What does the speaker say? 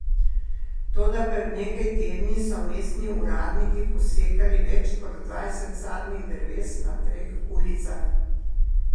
Toda pred nekaj tedni so mestni uradniki posekali več kot dvajset sadnih dreves na treh ulicah.